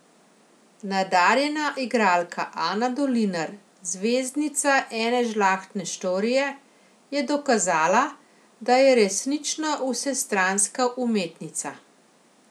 Nadarjena igralka Ana Dolinar, zvezdnica Ene žlahtne štorije, je dokazala, da je resnično vsestranska umetnica.